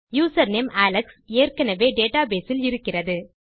username Alex ஏற்கெனெவே database இல் இருக்கிறது